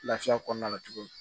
Lafiya kɔnɔna la tuguni